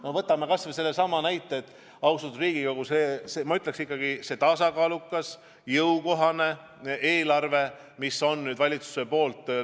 No võtame kas või sellesama näite, austatud Riigikogu, ma ütleksin ikkagi, selle tasakaaluka ja jõukohase eelarve, mille valitsus on nüüd Riigikogule üle andnud.